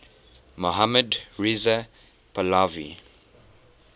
mohammad reza pahlavi